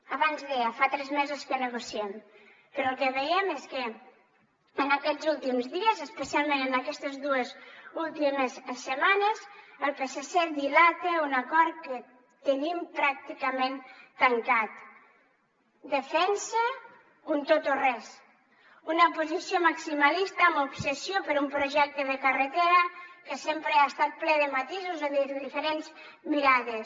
abans deia fa tres mesos que negociem però el que veiem és que en aquests últims dies especialment en aquestes dues últimes setmanes el psc dilata un acord que tenim pràcticament tancat defensa un tot o res una posició maximalista amb obsessió per un projecte de carretera que sempre ha estat ple de matisos o de diferents mirades